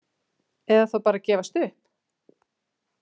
Eða þá bara að gefast upp?